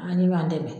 A ni b'an dɛmɛ